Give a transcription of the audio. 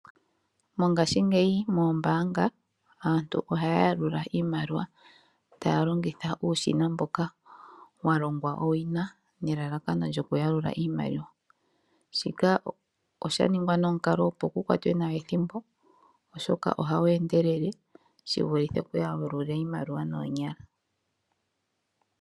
Mongaashingeyi moombaanga aantu ohaya yalula iimaliwa taya longitha uushina mboka walongwa owina nelalakano lyokuyalula iimaliwa. Shika osha ningwa nomukalo opo ethimbo likwatwe nawa oshoka ohawu endelele shivulithe okuyalula iimaliwa noonyala.